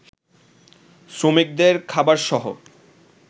শ্রমিকদের খাবারসহ